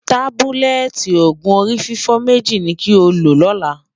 tábúlẹ́tì ògún orí fífọ̀ méjì nì kò ló lólà